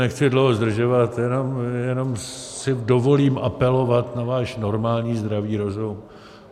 Nechci dlouho zdržovat, jenom si dovolím apelovat na váš normální zdravý rozum.